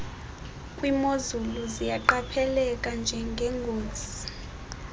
kwimozulu ziyaqapheleka njengengozi